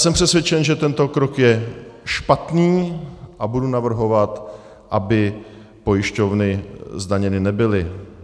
Jsem přesvědčen, že tento krok je špatný, a budu navrhovat, aby pojišťovny zdaněny nebyly.